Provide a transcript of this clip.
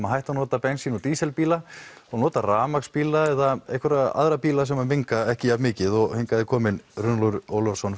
að hætta að nota bensín og díselbíla og nota rafmagnsbíla eða aðra sem menga ekki jafnmikið hingað er kominn Runólfur Ólafsson